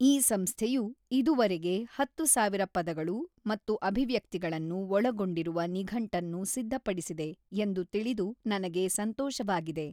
ಈ ಸಂಸ್ಥೆಯು ಇದುವರೆಗೆ ಹತ್ತು ಸಾವಿರ ಪದಗಳು ಮತ್ತು ಅಭಿವ್ಯಕ್ತಿಗಳನ್ನು ಒಳಗೊಂಡಿರುವ ನಿಘಂಟನ್ನು ಸಿದ್ಧಪಡಿಸಿದೆ ಎಂದು ತಿಳಿದು ನನಗೆ ಸಂತೋಷವಾಗಿದೆ.